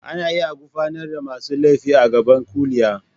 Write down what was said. Ana iya gurfanar da masu laifi a gaban kuliya.